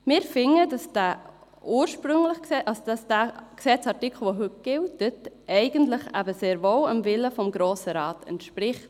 Wir sind der Meinung, der heute gültige Gesetzesartikel entspreche eigentlich sehr wohl dem Willen des Grossen Rates.